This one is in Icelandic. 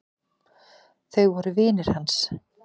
Þau voru vinir hans.